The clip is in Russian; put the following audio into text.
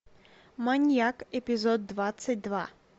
маньяк эпизод двадцать два